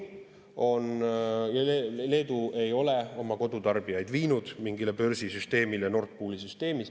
Leedu ei ole oma kodutarbijaid viinud mingile börsisüsteemile Nord Pooli süsteemis.